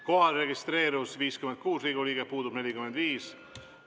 Kohalolijaks registreerus 56 Riigikogu liiget, puudub 45.